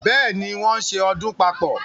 Bẹ́ẹ̀ ni, wọ́n ń ṣe ọdún papọ̀.